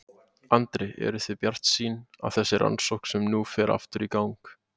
Andri: Eru þið bjartsýn á þessa rannsókn sem nú fer aftur í gang?